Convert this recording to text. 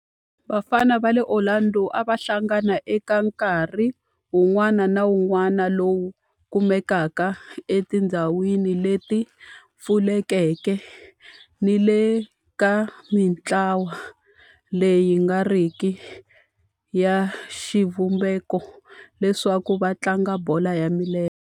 Vafana va le Orlando a va hlangana eka nkarhi wun'wana ni wun'wana lowu kumekaka etindhawini leti pfulekeke ni le ka mintlawa leyi nga riki ya xivumbeko leswaku va tlanga bolo ya milenge.